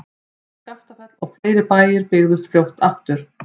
Skaftafell og fleiri bæir byggðust fljótt aftur.